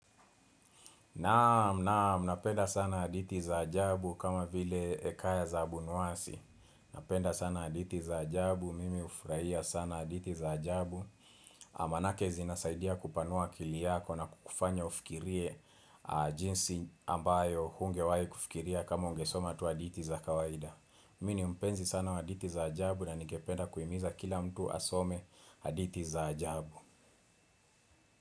Naam, naam, napenda sana hadithi za ajabu kama vile Hekaya za Abunuwasi. Napenda sana hadithi za ajabu. Mimi hufurahia sana hadithi za ajabu. Maanake zinasaidia kupanua akili yako na kukufanya ufikirie jinsi ambayo hungewahi kufikiria kama ungesoma tu hadithi za kawaida. Mimi ni mpenzi sana wa hadithi za ajabu na ningependa kuhimiza kila mtu asome aditi za ajabu.